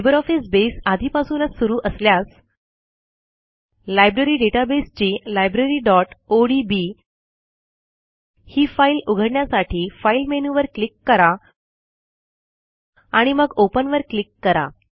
LibreOffice base आधीपासूनच सुरू असल्यास लायब्ररी databaseची libraryओडीबी ही फाईल उघडण्यासाठी फाइल मेनू वर क्लिक करा आणि मग Openवर क्लिक करा